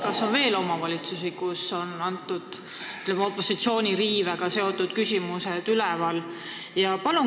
Kas on veel omavalitsusi, kus on sellised, ütleme, opositsiooni õiguste riivega seotud küsimused üleval?